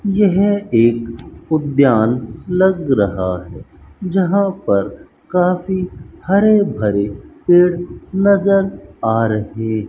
यह एक उद्यान लग रहा है जहां पर काफी हरे भरे पेड़ नजर आ रहे --